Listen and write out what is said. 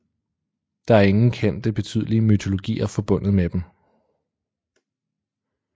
Der er ingen kendte betydelige mytologier forbundet med dem